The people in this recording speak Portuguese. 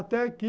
Até que...